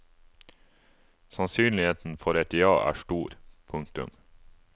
Sannsynligheten for et ja er stor. punktum